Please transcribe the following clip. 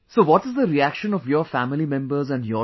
So what is the reaction of your family members & your